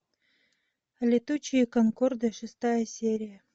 летучие конкорды шестая серия